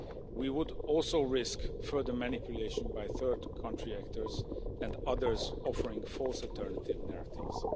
We would also risk further manipulation by third country actors and others offering false alternative narratives.